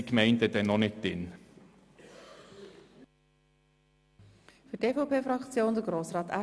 Die Gemeinden sind noch nicht enthalten.